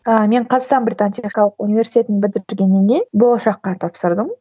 ыыы мен қазақстан британ техникалық университетін бітіргеннен кейін болашаққа тапсырдым